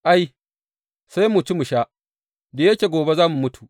Ai, Sai mu ci mu sha, da yake gobe za mu mutu.